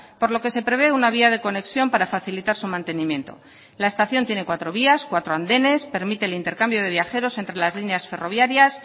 por lo que se prevé una vía de conexión para facilitar su mantenimiento la estación tiene cuatro vías cuatro andenes permite el intercambio de viajeros entre las líneas ferroviarias